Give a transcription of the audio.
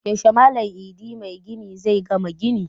Yaushe Malam Idi magini zai gama ginin?